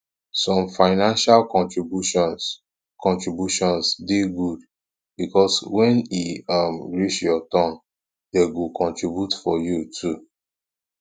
some financial contributions contributions de good because when e um reach your turn dem go contribute for you too